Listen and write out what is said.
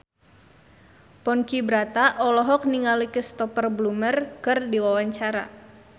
Ponky Brata olohok ningali Cristhoper Plumer keur diwawancara